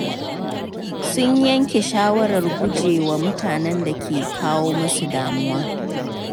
Sun yanke shawarar guje wa mutanen da ke kawo musu damuwa.